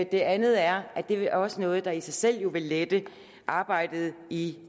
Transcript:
det andet er det også noget der i sig selv vil lette arbejdet i